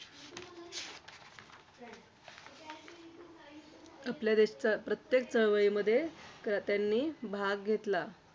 आणि जरा स्त्री पत्नी म्हणून कळाली तो सीतेचा राम झाला प्रत्येक महान व्यक्तीच्या जीवनात.